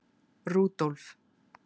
Rúdólf